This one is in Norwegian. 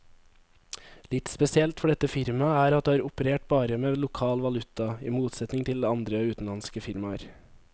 Litt spesielt for dette firmaet er at det har operert bare med lokal valuta, i motsetning til andre utenlandske firmaer.